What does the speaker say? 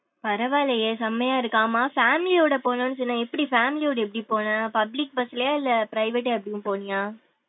பரவாலையே செம்மையா இருக்கு ஆமா family யோட போனோம் சொன்ன எப்டி family யோட எப்டி போன public bus லயா இல்ல private அப்டி போனியா?